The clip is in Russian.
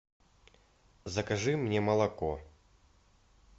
закажи мне молоко